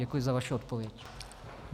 Děkuji za vaši odpověď.